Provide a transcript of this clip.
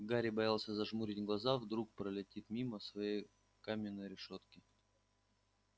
гарри боялся зажмурить глаза вдруг пролетит мимо своей каминной решётки